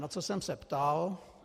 Na co jsem se ptal?